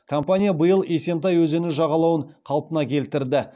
компания биыл есентай өзені жағалауын қалпына келтірді